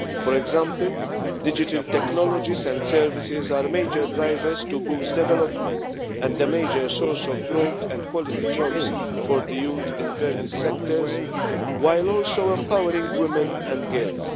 For example, digital technologies and services are major drivers to boost development and a major source of growth and quality jobs for youth in various sectors, while also empowering women and girls.